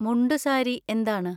മുണ്ടുസാരി എന്താണ്?